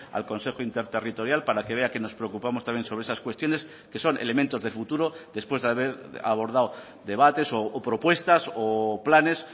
al consejo interterritorial para que vea que nos preocupamos también sobre esas cuestiones que son elementos de futuro después de haber abordado debates o propuestas o planes